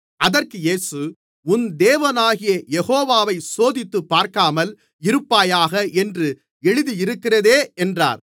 அதற்கு இயேசு உன் தேவனாகிய யெகோவாவைச் சோதித்துப்பார்க்காமல் இருப்பாயாக என்றும் எழுதியிருக்கிறதே என்றார்